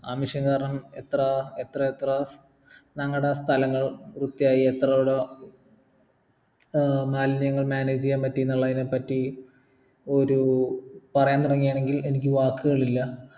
ആ mission കാരണം എത്ര എത്രേത്ര ഞങ്ങൾടെ സ്ഥലങ്ങൾ വൃത്തിയായി എത്ര അവിട ആഹ് മാലിന്യങ്ങൾ manage ചെയ്യാൻ പറ്റിന്നുള്ളയിനെ പറ്റി ഒരു പറയാൻ തുടങ്ങാണെങ്കിൽ എനിക്ക് വാക്കുകളില്ല